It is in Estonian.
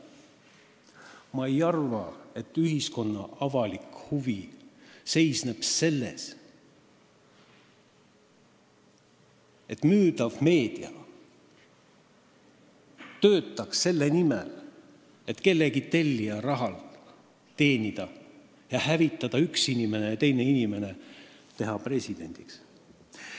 Ma ei arva, et ühiskonna avalik huvi seisneb selles, et müüdav meedia töötaks selle nimel, et teenida tellija raha ning hävitada üks inimene ja teha teine inimene presidendiks.